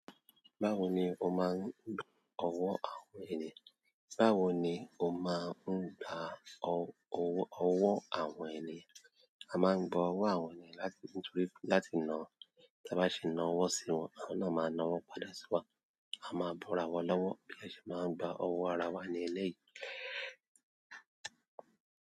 Báwo ni ó máa ń gba ọ̀wọ́ àwọn ènìyàn? Báwo ni ó máa ń gba ọ̀wọ́ àwọn ènìyàn? A máa ń gba ọ̀wọ́ àwọn ènìyàn láti nítorí láti ná, tí a bá sì ná ọ̀wọ́ sí wọn, wọn náà máa ná ọ̀wọ́ padà sí wa. A máa bọ́ra wọn lọ́wọ́, bí a ṣe bá ń gba owó ara wa ní eléyìí.